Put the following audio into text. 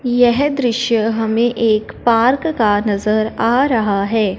यह दृश्य हमें एक पार्क का नजर आ रहा है।